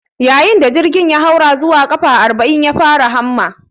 Yayin da jirgin ya haura zuwa ƙafa arbaminya, ya fara hamma